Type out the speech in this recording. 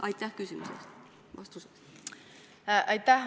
Aitäh!